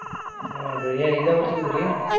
ಹಾ ರ್ರಿ ಏನ್ ಇದ ವರ್ಷ ಹೋಗಿದ್ರಿ?